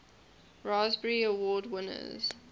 raspberry award winners